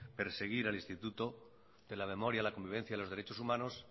perseguir el instituto de la memoria de la convivencia y de los derechos humanos